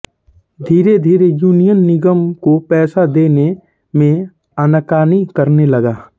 धीरेधीरे यूनियन निगम को पैसा देने में आनाकानी करने लगा